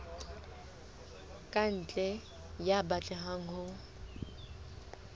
ka ntle ya batlang ho